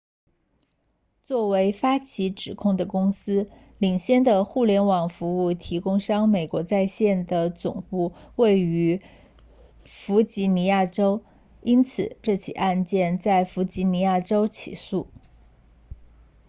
作为发起指控的公司领先的互联网服务提供商美国在线 aol 的总部位于弗吉尼亚州因此这起案件在弗吉尼亚州起诉